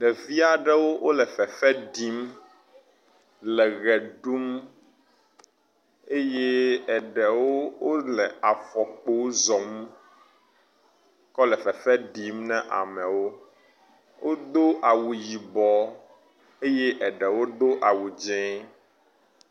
Ɖevi aɖewo wole fefe ɖim le ʋe ɖum. Eye eɖewo wole afɔkpo zɔm kɔ lɔ fefe ɖim na ameawo. Wodo awu yibɔ eye eɖewo do awu dze.